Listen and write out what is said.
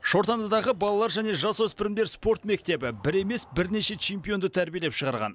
шортандыдағы балалар және жасөспірімдер спорт мектебі бір емес бірнеше чемпионды тәрбиелеп шығарған